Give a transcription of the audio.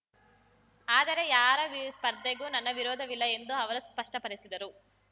ಆದರೆ ಯಾರ ಸ್ಪರ್ಧೆಗೂ ನನ್ನ ವಿರೋಧವಿಲ್ಲ ಎಂದು ಅವರು ಸ್ಪಷ್ಟಪಡಿಸಿದರು